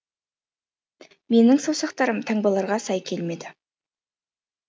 менің саусақтарым таңбаларға сай келмеді